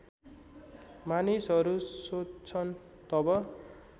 मानिसहरू सोध्छन् तब